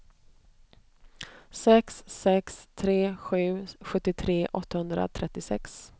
sex sex tre sju sjuttiotre åttahundratrettiosex